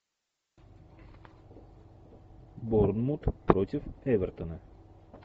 борнмут против эвертона